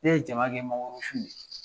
Ne ye jama kɛ mangoro sun de ye.